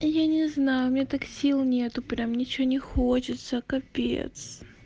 я не знаю мне так сил нету прям ничего не хочется капец